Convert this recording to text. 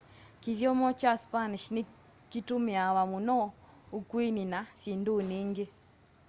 kithyomo kya spanish ni kitũmiawa mũno ukũini na syindũni ingi